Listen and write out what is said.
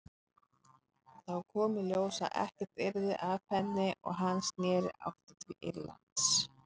Þá kom í ljós að ekkert yrði af henni og hann sneri aftur til Írlands.